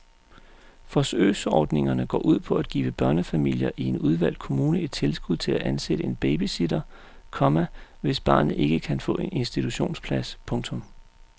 Forsøgsordningen går ud på at give børnefamilier i en udvalgt kommune et tilskud til at ansætte en babysitter, komma hvis barnet ikke kan få en institutionsplads. punktum